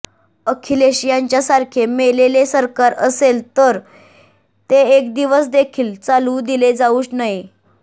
अखिलेश यांच्यासारखे मेलेले सरकार असेल तर ते एक दिवस देखील चालवू दिले जाऊ नये